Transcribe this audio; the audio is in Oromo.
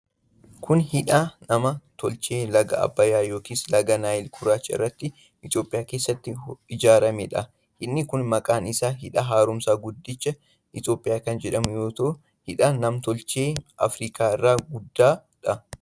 Kun, hidha nam tolchee laga Abbayyaa yookin laga Naayil Gurraacha irratti Itoophiyaa keessatti ijaaramee dha. Hidhni kun maqaan isaa Hidha Haaromsa Guddicha Itoophiyaa kan jedhamu yoo ta'u, hidha nam tolchee Afriikaa isa guddaa dha.